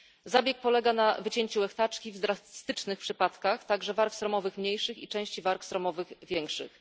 Zabieg polega na wycięciu łechtaczki, w drastycznych przypadkach także warg sromowych mniejszych i części warg sromowych większych.